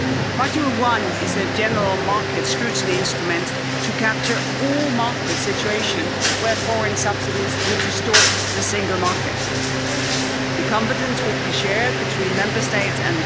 Module 1 is a general market scrutiny instrument to capture all market situations where foreign subsidies would distort the single market. The competence would be shared between Member States and the Commission and if a subsidy is found to distort the single market then redressive measures could be imposed.